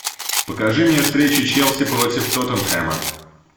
покажи мне встречу челси против тоттенхэма